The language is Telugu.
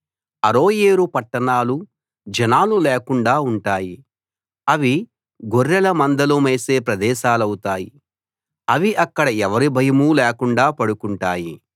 అరోయేరు పట్టణాలు జనాలు లేకుండా ఉంటాయి అవి గొర్రెల మందలు మేసే ప్రదేశాలవుతాయి అవి అక్కడ ఎవరి భయమూ లేకుండా పడుకుంటాయి